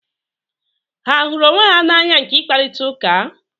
Ha a hụrụ onwe na anya nke ị kparịta ụka?